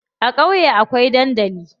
A ƙauye akwai dandali.